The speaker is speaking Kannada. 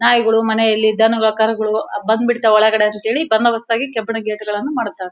ನಾಯಿಗಳು ಮನೆಯಲ್ಲಿ ದನಗಳು ಕರುಗಳು ಬಂದ್ಬಿಡ್ತಾವೆ ಒಳಗಡೆ ಅಂತ ಹೇಳಿ ಬಂದೋಬಸ್ತ್ ಆಗಿ ಕಬ್ಬಿಣದ ಗೇಟ್ ಗಳನ್ನೂ ಮಾಡುತ್ತಾರೆ--